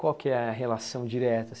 Qual que é a relação direta?